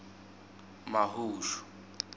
mahushu